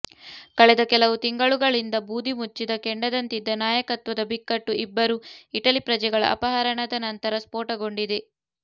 ಕಳೆದ ಕೆಲವು ತಿಂಗಳುಗಳಿಂದ ಬೂದಿಮುಚ್ಚಿದ ಕೆಂಡದಂತಿದ್ದ ನಾಯಕತ್ವದ ಬಿಕ್ಕಟ್ಟು ಇಬ್ಬರು ಇಟಲಿ ಪ್ರಜೆಗಳ ಅಪಹರಣದ ನಂತರ ಸ್ಫೋಟಗೊಂಡಿದೆ